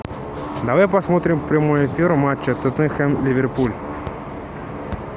давай посмотрим прямой эфир матча тоттенхэм ливерпуль